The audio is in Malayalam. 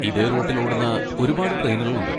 ഇതേ റൂട്ടിൽ ഓടുന്ന ഒരുപാട് ട്രെയിനുകളുണ്ട്.